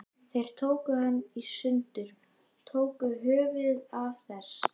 Þeir tóku hana í sundur. tóku höfuðið af þess